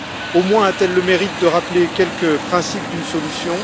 Au moins a t elle le mérite de rappeler quelques principes d'une solution.